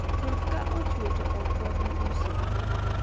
koth ka ochwe to ok wabi uso